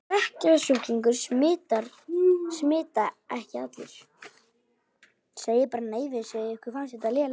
Berklasjúklingar smita ekki allir.